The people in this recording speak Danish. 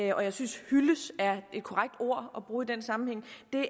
og jeg synes hyldes er et korrekt ord at bruge i den sammenhæng